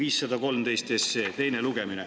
Eelnõu 513 teine lugemine.